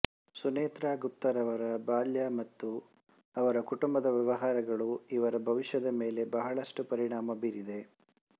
ಸುನೇತ್ರ ಗುಪ್ತರವರ ಬಾಲ್ಯ ಮತ್ತು ಅವರ ಕುಟುಂಬದ ವ್ಯವಹಾರಗಳು ಇವರ ಭವಿಷ್ಯದ ಮೇಲೆ ಬಹಳಷ್ಟು ಪರಿಣಾಮ ಬೀರಿದೆ